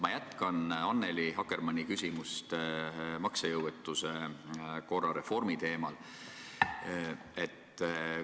Ma jätkan Annely Akkermanni küsimust maksejõuetuse korra reformi teemal.